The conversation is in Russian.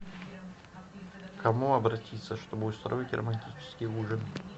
к кому обратиться чтобы устроить романтический ужин